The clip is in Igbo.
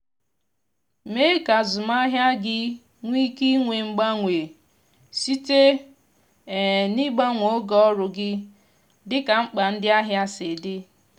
tụlee ma gi na ndi n'ebunye ngwa ahia maọbụ ndi nwe ala aga akpa nke oma oge ọnwa sịrị ike